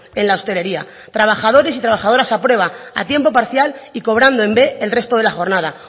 en la hostelería trabajadores y trabajadoras a prueba a tiempo parcial y cobrando en b el resto de la jornada